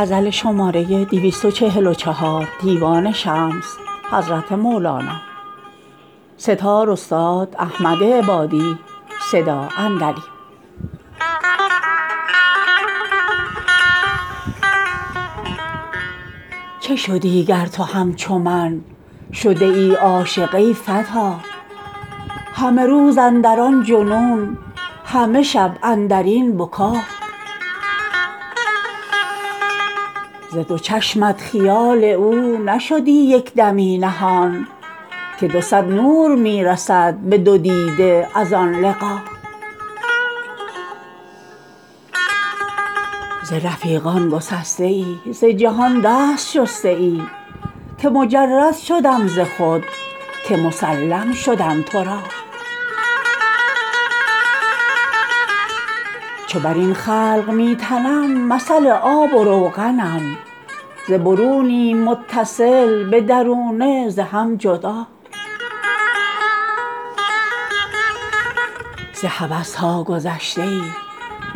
چه شدی گر تو همچو من شدیی عاشق ای فتا همه روز اندر آن جنون همه شب اندر این بکا ز دو چشمت خیال او نشدی یک دمی نهان که دو صد نور می رسد به دو دیده از آن لقا ز رفیقان گسستیی ز جهان دست شستیی که مجرد شدم ز خود که مسلم شدم تو را چو بر این خلق می تنم مثل آب و روغنم ز برونیم متصل به درونه ز هم جدا ز هوس ها گذشتیی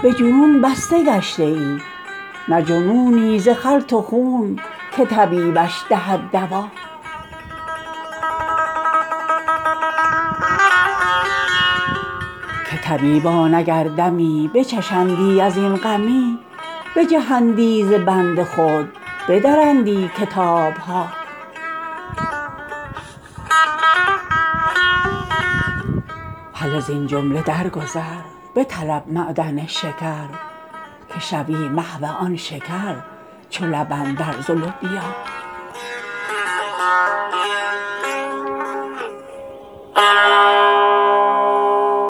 به جنون بسته گشتیی نه جنونی ز خلط و خون که طبیبش دهد دوا که طبیبان اگر دمی بچشندی از این غمی بجهندی ز بند خود بدرندی کتاب ها هله زین جمله درگذر بطلب معدن شکر که شوی محو آن شکر چو لبن در زلوبیا